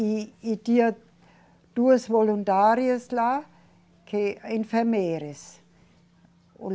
E, e tinha duas voluntárias lá, que enfermeiras.